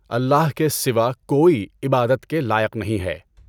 اللہ کے سوا کوئی عبادت کے لائق نہیں ہے۔